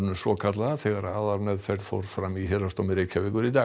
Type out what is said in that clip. svokallaða þegar aðalmeðferð fór fram í Héraðsdómi Reykjavíkur í dag